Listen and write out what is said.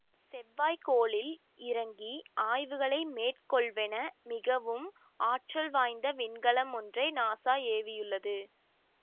செவ்வாய் கோளில் இறங்கி ஆய்வுகளை மேற்கொள்வென மிகவும் ஆற்றல் வாய்ந்த விண்கலம் ஒன்றை நாசா ஏவியுள்ளது